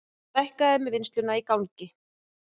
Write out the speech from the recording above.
Stækkað með vinnsluna í gangi